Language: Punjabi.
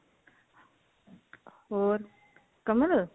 ਹੋਰ ਕਮਲ